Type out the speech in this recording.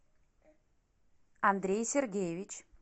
андрей сергеевич